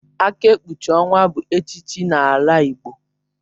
Aka ekpuchi owa bụ echichi n'ala igbo